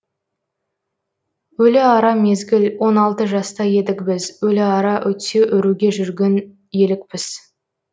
өліара мезгіл он алты жаста едік біз өліара өтсе өруге жүрген елікпіз